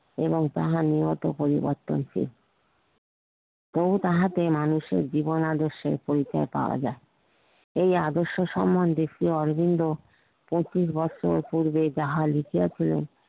এবং তাহা নিয়ত পরিবর্তনশীল বহুত আহাতে মানুষের জীবন আদর্শের পরিচত পাওয়া যাই এই আদর্শ সম্বন্ধে শ্রি অরবিন্দ পঁচিশ বছর পূর্বে যাহা লিখিয়া ছিল